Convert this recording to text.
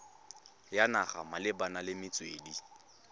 ya naga malebana le metswedi